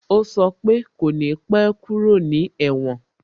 O sọ pe "kò ní pẹ́ kúrò ní èwòn"